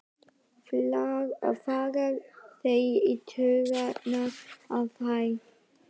fara þeir í taugarnar á þér?